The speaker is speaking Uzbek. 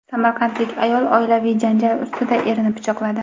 Samarqandlik ayol oilaviy janjal ustida erini pichoqladi.